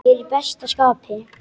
Ég er í besta skapi.